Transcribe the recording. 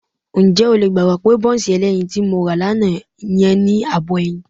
Ǹjẹ́ o lè gbàgbọ́ pé bọ́ńsì ẹlẹ́yin tí mo rà lánàá yẹn ní ààbọ̀ ẹyin?